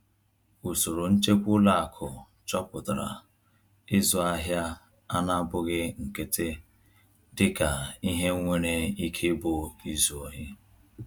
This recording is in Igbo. Usoro nchekwa ụlọ akụ chọpụtara ịzụ ahịa a na-abụghị nkịtị dịka ihe nwere ike ịbụ izu ohi.